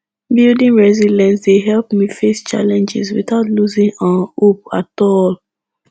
building resilience dey help me face challenges without losing um hope at all